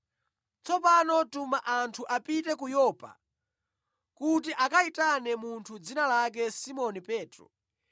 Tsopano tuma anthu apite ku Yopa kuti akayitane munthu dzina lake Simoni Petro.